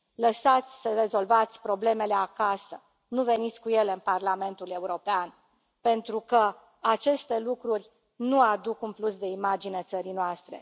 Lăsați să rezolvați problemele acasă, nu veniți cu ele în Parlamentul European, pentru că aceste lucruri nu aduc un plus de imagine țării noastre.